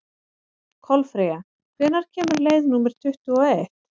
Kolfreyja, hvenær kemur leið númer tuttugu og eitt?